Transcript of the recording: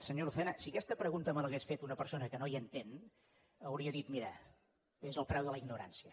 senyor lucena si aquesta pregunta me l’hagués fet una persona que no hi entén hauria dit mira és el preu de la ignorància